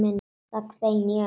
Það hvein í ömmu.